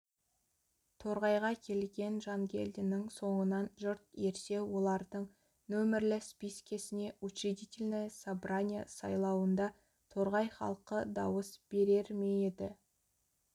торғайға келген жангелдиннің соңынан жұрт ерсе олардың нөмірлі спискесіне учредительное собрание сайлауында торғай халқы дауыс берер ме еді